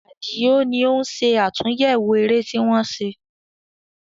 Àdìó ní ó ń ṣe àtúnyẹwò eré tí wọ́n ṣe